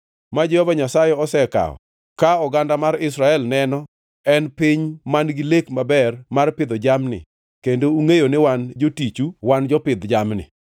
ma Jehova Nyasaye osekawo ka oganda mar jo-Israel neno en piny man-gi lek maber mar pidho jamni kendo ungʼeyo ni wan jotichu wan jopidh jamni.